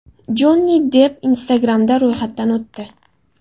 Jonni Depp Instagram’da ro‘yxatdan o‘tdi.